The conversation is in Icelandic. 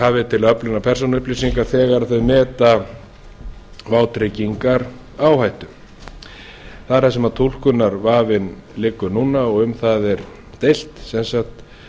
hafi til öflunar persónuupplýsinga þegar þau meta vátryggingaráhættu það er þar sem túlkunarvafinn liggur núna og um það er deilt sem sagt